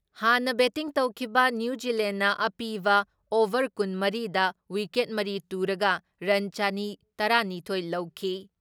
ꯍꯥꯟꯅ ꯕꯦꯇꯤꯡ ꯇꯧꯈꯤꯕ ꯅ꯭ꯌꯨ ꯖꯤꯂꯦꯟꯅ ꯑꯄꯤꯕ ꯑꯣꯚꯔ ꯀꯨꯟ ꯃꯔꯤ ꯗ ꯋꯤꯀꯦꯠ ꯃꯔꯤ ꯇꯨꯔꯒ ꯔꯟ ꯆꯅꯤ ꯇꯔꯥ ꯅꯤꯊꯣꯏ ꯂꯧꯈꯤ ꯫